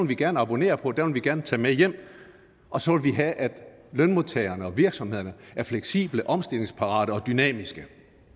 vi gerne abonnere på den vil vi gerne tage med hjem og så vil vi have at lønmodtagerne og virksomhederne er fleksible omstillingsparate og dynamiske